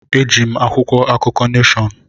Eji m akwụkwọ akụkọ Neshọn.